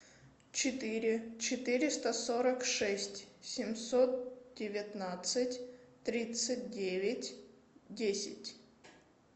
четыре четыреста сорок шесть семьсот девятнадцать тридцать девять десять